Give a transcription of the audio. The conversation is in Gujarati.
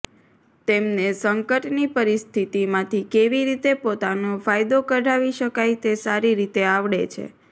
તેમને સંકટની પરિસ્થિતિમાંથી કેવી રીતે પોતાનો ફાયદો કઢાવી શકાય તે સારી રીતે આવડે છે